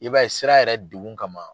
I b'a ye sira yɛrɛ degun kama